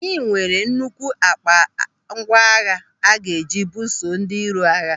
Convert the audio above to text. Anyị nwere nnukwu ákpá ngwa agha a ga-eji buso ndị iro agha.